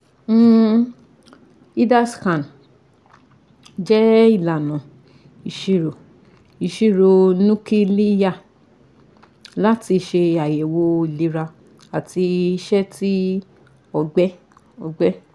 um (HIDA scan) jẹ ilana iṣiro iṣiro nukiliya lati ṣe ayẹwo ilera ati iṣẹ ti ọgbẹ ọgbẹ